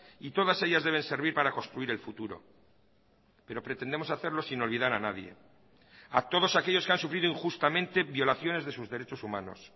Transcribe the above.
y todas ellas deben servir para construir el futuro pero pretendemos hacerlo sin olvidar a nadie a todos aquellos que han sufrido injustamente violaciones de sus derechos humanos